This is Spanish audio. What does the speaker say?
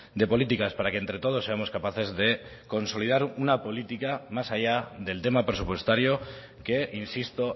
de políticas para que entre todos seamos capaces de consolidar una política más allá del tema presupuestario que insisto